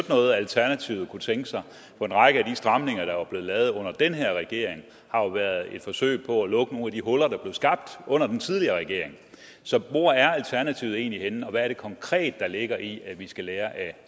noget alternativet kunne tænke sig for en række af de stramninger der er blevet lavet under den her regering har jo været et forsøg på at lukke nogle af de huller der blev skabt under den tidligere regering så hvor er alternativet egentlig henne og hvad er det konkret der ligger i at vi skal lære af